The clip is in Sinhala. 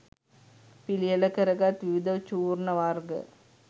පිළියෙල කරගත් විවිධ චූර්ණ වර්ග